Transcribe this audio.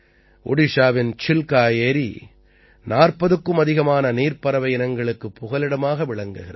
ஓடிஷாவின் சில்கா ஏரி 40க்கும் அதிகமான நீர்ப் பறவை இனங்களுக்கு புகலிடமாக விளங்குகிறது